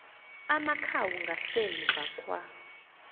amakhawu ngasemva kwa